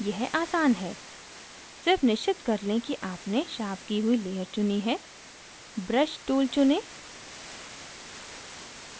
यह आसान है सिर्फ निश्चित कर लें कि आपने sharpen की हुई layer चुनी है brush tool चुनें